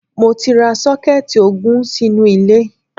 Mo ti ra sọ́kẹ́ẹ́tì ogún sínú ilé.